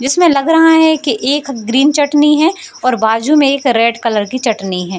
जिसमें लग रहा है कि एक ग्रीन चटनी है और बाजू में एक रेड कलर की चटनी है।